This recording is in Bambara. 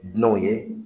Dunanw ye